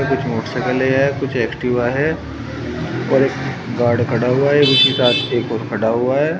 कुछ मोटरसाइकिले हैं कुछ एक्टिवा है और एक गार्ड खड़ा हुआ है और उसके साथ एक और खड़ा हुआ है।